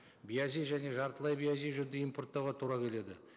биязи және жартылай биязи жүнді импорттауға тура келеді